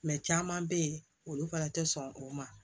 caman bɛ yen olu fana tɛ sɔn o ma